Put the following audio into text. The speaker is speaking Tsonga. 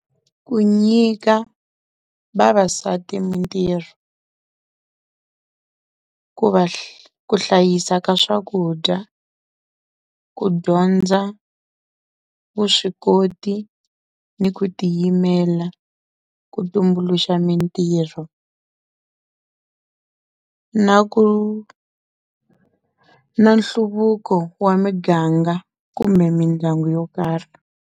Ku nyika vavasati mintirho ku hlayisa ka swakudya, ku dyondza vuswikoti ni ku tiyimela, ku tumbuluxa mintirho na ku na nhluvuko wa miganga kumbe mindyangu yo karhi.